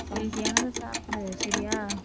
healthy யானதை சாப்பிடு சரியா?